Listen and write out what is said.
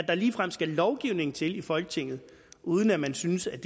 der ligefrem skal lovgivning til i folketinget uden at man synes at